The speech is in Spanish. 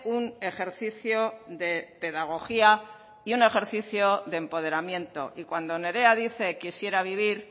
un ejercicio de pedagogía y un ejercicio de empoderamiento y cuando nerea dice quisiera vivir